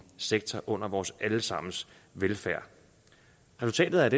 sektor under vores alle sammens velfærd resultatet af